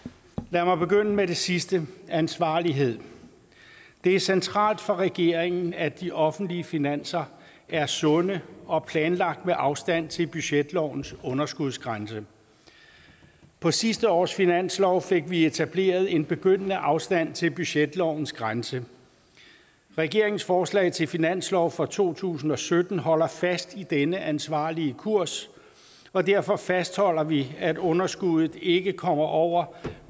lad mig begynde med det sidste ansvarlighed det er centralt for regeringen at de offentlige finanser er sunde og planlagt med afstand til budgetlovens underskudsgrænse på sidste års finanslov fik vi etableret en begyndende afstand til budgetlovens grænse regeringens forslag til finanslov for to tusind og sytten holder fast i den ansvarlige kurs og derfor fastholder vi at underskuddet ikke kommer over